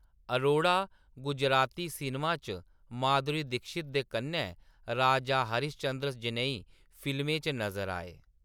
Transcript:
Arora Gujarati cinema च माधुरी दीक्षित दे कन्नै राजा हरीश चंद्र जनेही फिल्में च नजर आए।